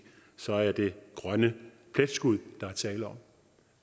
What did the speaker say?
så er det grønne pletskud der er tale om